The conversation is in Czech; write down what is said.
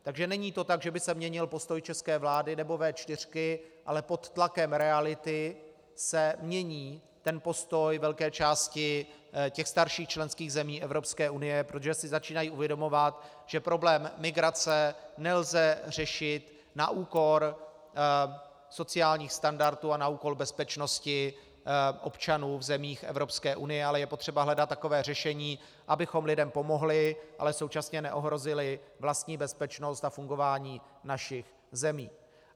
Takže není to tak, že by se měnil postoj české vlády nebo V4, ale pod tlakem reality se mění postoj velké části těch starších členských zemí Evropské unie, protože si začínají uvědomovat, že problém migrace nelze řešit na úkor sociálních standardů a na úkor bezpečnosti občanů v zemích Evropské unie, ale je potřeba hledat takové řešení, abychom lidem pomohli, ale současně neohrozili vlastní bezpečnost a fungování našich zemí.